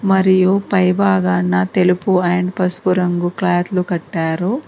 మరియు పైభాగాన్న తెలుపు అండ్ పసుపు రంగు క్లాతలు కట్టారు.